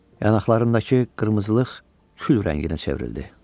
Yanaqlarındakı qırmızılıq kül rənginə çevrildi.